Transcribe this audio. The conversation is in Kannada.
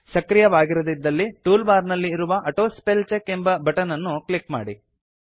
ಸಕ್ರಿಯವಾಗಿರದಿದ್ದಲ್ಲಿ ಟೂಲ್ ಬಾರ್ ನಲ್ಲಿ ಇರುವ ಆಟೋಸ್ಪೆಲ್ಚೆಕ್ ಎಂಬ ಬಟನ್ ಅನ್ನು ಕ್ಲಿಕ್ ಮಾಡಿ